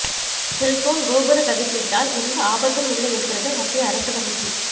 cellphone கோபுர கதிர்வீச்சால் எந்த ஆபத்தும் இல்லை என்கிறது மத்திய அரசு கமிட்டி